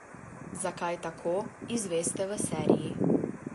Zakaj tako, izveste v seriji.